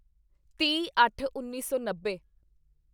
ਤੀਹਅੱਠਉੱਨੀ ਸੌ ਨੱਬੇ